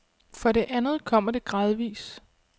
For det andet kommer det gradvis.